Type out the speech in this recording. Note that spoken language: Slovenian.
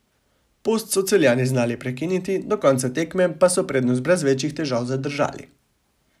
Post so Celjani znali prekiniti, do konca tekme pa so prednost brez večjih težav zadržali.